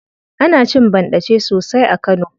Ana cin banɗace sosai a kano.